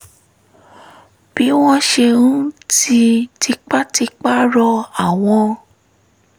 bí wọ́n ṣe ń ti tipátipá rọ àwọn